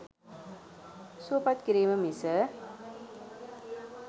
සුවපත් කිරීම මිස